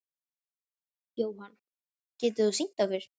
Jóhann: Getur þú sýnt okkur?